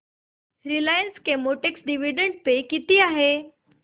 Reliance Chemotex dividend pay किती आहे